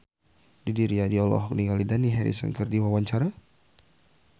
Didi Riyadi olohok ningali Dani Harrison keur diwawancara